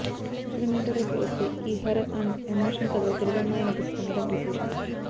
అసలు మ్యాటర్ లోకి వస్తే ఈ హారర్ అండ్ ఎమోషనల్ కథలో తెలుగమ్మాయి నటిస్తుండడం విశేషం